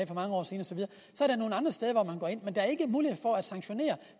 for mange år siden og der er ikke mulighed for at sanktionere